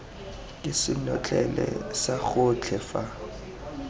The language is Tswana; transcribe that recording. ke senotlele sa gotlhe fa